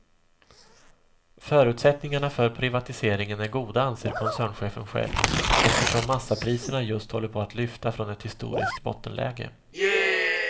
Förutsättningarna för privatiseringen är goda anser koncernchefen själv, eftersom massapriserna just håller på att lyfta från ett historiskt bottenläge.